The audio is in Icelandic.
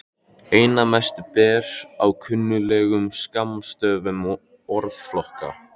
Einna mest ber á kunnuglegum skammstöfunum orðflokka.